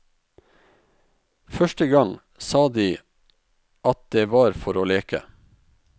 Første gang sa de at det var for å leke.